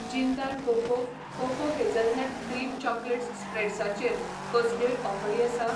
Jindal cocoa cocoa hazelnut cream chocolate स्प्रेड्सा चेर कसल्योय ऑफरी आसा ?